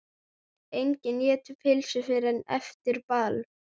Enginn étur pylsur fyrr en eftir ball.